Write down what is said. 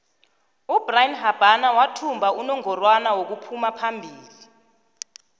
ubrian habana wathumba inongorwana wokuphumaphombili